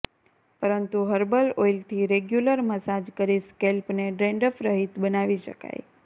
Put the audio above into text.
પરંતુ હર્બલ ઑઇલથી regular massage કરી સ્કૅલ્પને ડૅન્ડ્રફરહિત બનાવી શકાય